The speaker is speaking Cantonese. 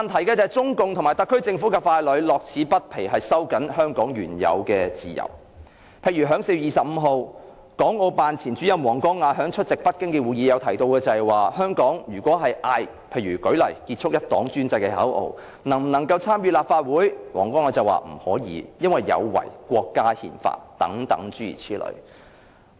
但是，中共和特區政府傀儡樂此不疲地收緊香港原有的自由，例如港澳辦前主任王光亞在4月25日出席北京的會議時提到，在香港呼喊"結束一黨專政"口號的人不可以參選立法會，因為此舉有違國家憲法。